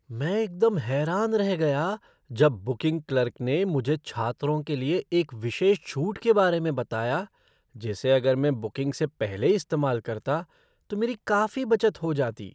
मैं एकदम हैरान रह गया जब बुकिंग क्लर्क ने मुझे छात्रों के लिए एक विशेष छूट के बारे में बताया जिसे अगर मैं बुकिंग से पहले इस्तेमाल करता तो मेरी काफ़ी बचत हो जाती।